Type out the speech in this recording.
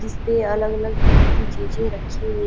जिसपे अलग अलग तरह की चीजें रखी हु--